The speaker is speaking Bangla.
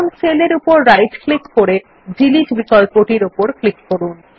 এখন সেল উপর রাইট ক্লিক করে ডিলিট বিকল্পর উপর ক্লিক করুন